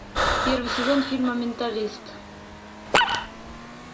первый сезон фильма менталист